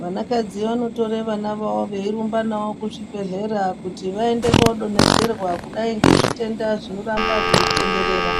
Vanakadzi vanotora vana vavo veirumba vavo kuzvibhedhlera kuti vaende kodonhedzerwa kudai nezvitenda zvinomba zveitenderera.